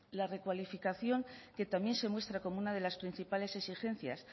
la recualificación que también se muestra como una de las principales exigencias